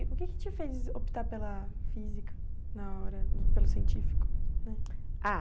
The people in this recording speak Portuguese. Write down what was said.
E o que te fez optar pela física na hora, pelo científico né? Ah